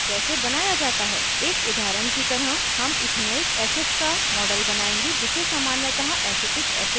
एक उदाहरण की तरह हम ethanoic acid का model बनाएंगे जिसे सामान्यतः acetic acid भी कहते हैं